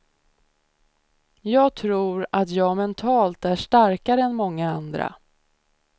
Jag tror att jag mentalt är starkare än många andra.